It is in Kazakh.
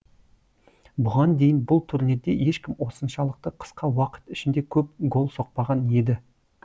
бұған дейін бұл турнирде ешкім осыншалықты қысқа уақыт ішінде көп гол соқпаған еді